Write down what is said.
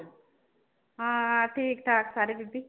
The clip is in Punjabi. ਹਾਂ ਠੀਕ ਠਾਕ ਸਾਰੇ ਬੀਬੀ।